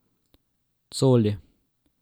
Coli.